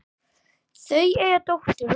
Þau eiga dóttur og son.